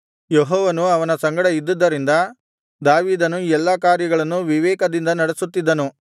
ಯೆಹೋವನು ಅವನ ಸಂಗಡ ಇದ್ದದರಿಂದ ದಾವೀದನು ಎಲ್ಲಾ ಕಾರ್ಯಗಳನ್ನು ವಿವೇಕದಿಂದ ನಡೆಸುತ್ತಿದ್ದನು